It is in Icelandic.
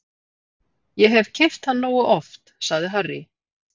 Ég hef keypt hann nógu oft, sagði Harry.